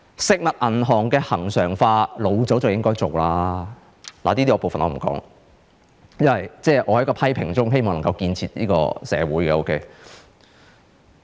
食物銀行恆常化早應該做，這部分我不說了，因為我希望能夠在批評中建設社會。